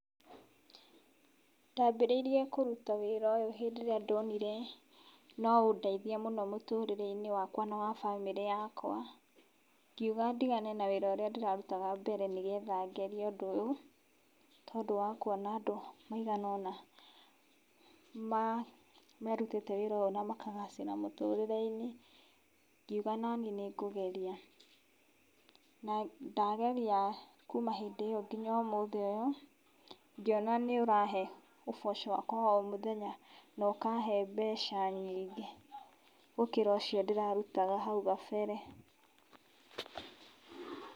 Ndambĩrĩirie kũruta wĩra ũyũ hĩndĩ ĩrĩa ndonire noũndeithie mũno mũtũrĩreinĩ wakwa na wa bamĩrĩ yakwa, ngiuga ndigane na wĩra ũrĩa ndĩrarutaga mbere nĩgetha ngerie ũndũ ũyũ tondũ wakwona andũ maigana ũna merũtĩte wĩra ũyũ na makagacĩra mũtũrĩreinĩ, ngiuga nanĩ nĩ ngũgeria na ndageria kuuma hĩndĩ ĩyo nginya ũmũthĩ ũyũ ngĩona nĩ ũrahe ũboco wakwa wa ũmũthenya na ũkahe mbeca nyingĩ gũkĩra ũcio nĩrarutaga hau kabere.